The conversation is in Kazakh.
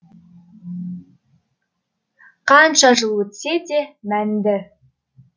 қанша жыл өтсе де мәнді